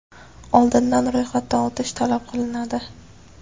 oldindan ro‘yxatdan o‘tish talab qilinadi.